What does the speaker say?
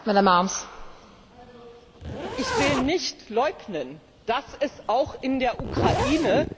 Ich will nicht leugnen, dass es auch in der Ukraine Nationalisten gibt.